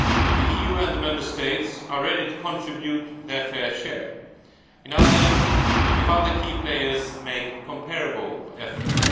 The EU and the Member States are ready to contribute their fair share, if other key players make comparable efforts.